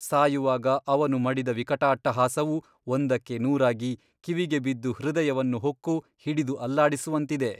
ಸಾಯುವಾಗ ಅವನು ಮಡಿದ ವಿಕಟಾಟ್ಟಹಾಸವು ಒಂದಕ್ಕೆ ನೂರಾಗಿ ಕಿವಿಗೆ ಬಿದ್ದು ಹೃದಯವನ್ನು ಹೊಕ್ಕು ಹಿಡಿದು ಅಲ್ಲಾಡಿಸುವಂತಿದೆ.